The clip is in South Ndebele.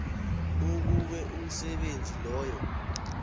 ukube umsebenzi loyo